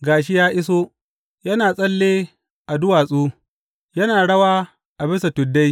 Ga shi ya iso, yana tsalle a duwatsu, yana rawa a bisa tuddai.